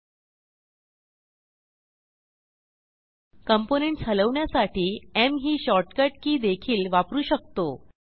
components हलवण्यासाठी M ही shortcut key देखील वापरू शकतो